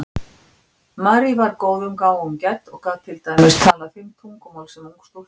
Marie var góðum gáfum gædd og gat til dæmis talað fimm tungumál sem ung stúlka.